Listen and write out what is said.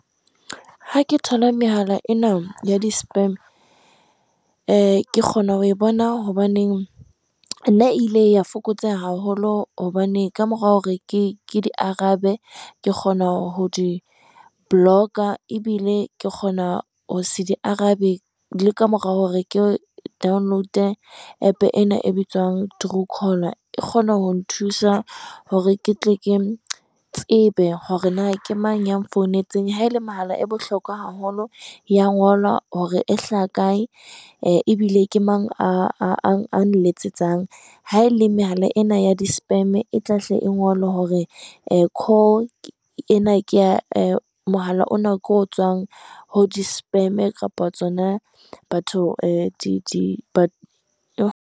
Ha ke thola mehala ena ya di spam, e kgona ho e bona hobaneng nna ile ya fokotseha haholo hobane ka mora hore ke di arabe, Ke kgona ho di-blocker, ebile ke kgona ho se di arabe le ka mora hore ke download-e App ena e bitswang Truecaller, e kgone ho nthusa hore ke tle ke tsebe hore na ke mang ya nfounetseng. Ha ele mahala e bohlokwa haholo e ya ngolwa hore e hlaha kae, ebile ke mang a nletsetsang. Ha ele mehala ena ya di spam, e tlahle e ngolwe hore e call ena ke ya, e mohala ona ke o tswang ho di spam kapa tsona batho .